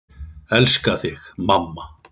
Elska þig, mamma.